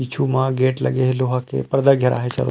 पीछू म गेट लगे हे लोहा के पर्दा घेराए हे चारो--